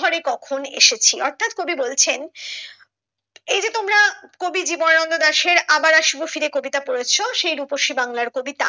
ঘরে কখন এসেছি অর্থাৎ কবি বলেছেন এই যে তোমরা কবি জীবনানন্দ দাসের আবার এসব কবিতা পড়েছো সেই রূপসী বাংলার কবিতা